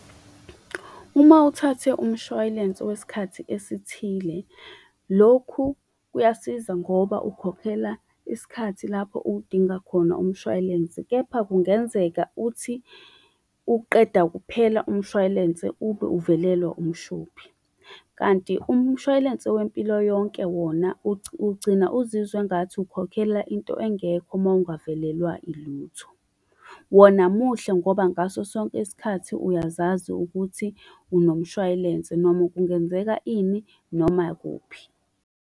Uma uthathe umshwalense wesikhathi esithile, lokhu kuyasiza ngoba ukhokhela isikhathi lapho uwudinga khona umshwalense. Kepha kungenzeka uthi uqeda kuphela umshwalense ube uvelelwa umshophi, kanti umshwalense wempilo yonke wona ugcina uzizwa engathi ukhokhela into engekho uma ungavelelwa ilutho. Wona muhle ngoba ngaso sonke isikhathi uyazazi ukuthi unomshwalense noma kungenzeka ini, noma kuphi.